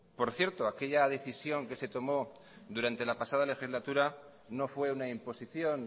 por cierto aquella decisión que se tomó durante la pasada legislatura no fue una imposición